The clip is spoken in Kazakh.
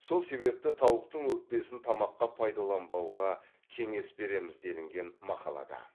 сол себепті тауықтың өкпесін тамаққа пайдаланбауға кеңес береміз делінген мақалада